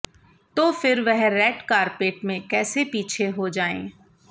तो फिर वह रेड कारपेट में कैसे पीछे हो जाएं